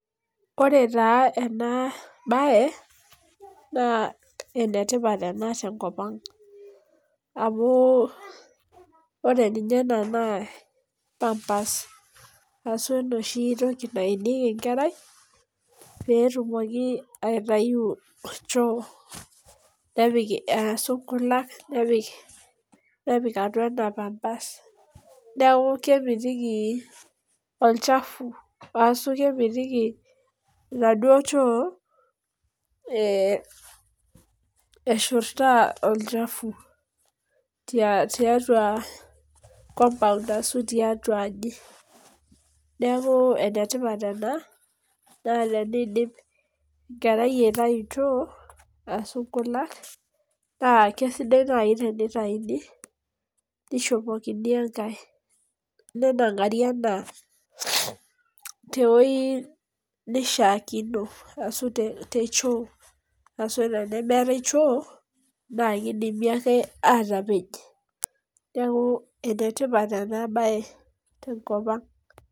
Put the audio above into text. Ore taa enabae, naa enetipat ena tenkop ang. Amu, ore ninye ena naa pampers, ashu enoshi toki naenieki enkerai, petumoki aitayu choo nepik ashu nkulak nepik, nepik atua ena pampers. Neeku kemitiki olchafu, wasu kemiti inaduo choo, eshurtaa olchafu tiatua compound asu tiatua aji. Neeku enetipat ena, naa tenidip enkerai aitayu choo, asu nkulak, naa kesidai nai tenitaini, nishopokini enkae. Nenang'ari ena tewoi nishaakino, asu te choo, asu tenemeetai choo, na kidimi ake atapej. Neeku enetipat enabae tenkop ang'.